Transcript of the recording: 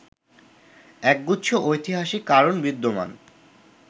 একগুচ্ছ ঐতিহাসিক কারণ বিদ্যমান